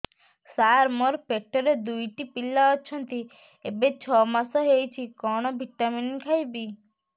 ସାର ମୋର ପେଟରେ ଦୁଇଟି ପିଲା ଅଛନ୍ତି ଏବେ ଛଅ ମାସ ହେଇଛି କଣ ଭିଟାମିନ ଖାଇବି